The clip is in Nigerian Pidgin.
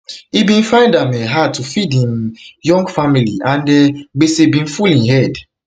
im bin find am um hard to feed im young family um and gbese bin full im head